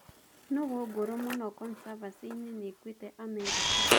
Nũgũ ngũrũ mũno consavansi-inĩ nĩĩkuite Amerika